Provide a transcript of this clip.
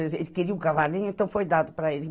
Ele ele queria o cavalinho, então foi dado para ele.